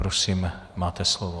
Prosím, máte slovo.